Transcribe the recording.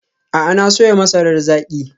A'a, na soya masarar zaki.